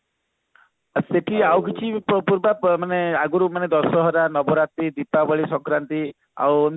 ଆଉ ସେଠି ଆଉ କିଛି ମାନେ ଆଗରୁ ମାନେ ଦଶହରା ନବରାତ୍ରି ଦୀପାବଳି ସଂକ୍ରାନ୍ତି ଆଉ